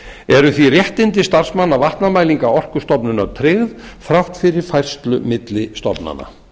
eru því réttindi starfsmanna vatnamælinga orkustofnunar tryggð þrátt fyrir færslu milli stofnana